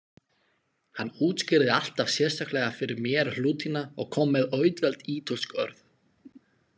Hann útskýrði alltaf sérstaklega fyrir mér hlutina og kom með auðveld ítölsk orð.